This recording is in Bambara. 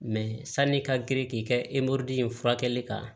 sanni i ka girin k'i kɛ in furakɛli kan